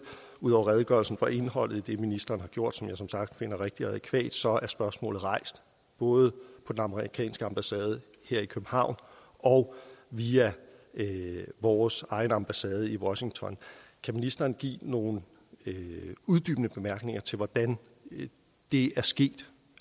ud over redegørelsen for indholdet i det ministeren har gjort som jeg som sagt finder rigtigt og adækvat at så er spørgsmålet rejst både på den amerikanske ambassade her i københavn og via vores egen ambassade i washington kan ministeren give nogle uddybende bemærkninger til hvordan det er sket